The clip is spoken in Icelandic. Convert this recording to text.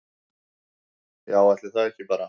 Já, ætli það ekki bara